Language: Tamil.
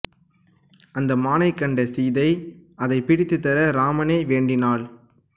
அந்த மானைக் கண்டு சீதை அதைப் பிடித்துத் தர இராமனை வேண்டினாள்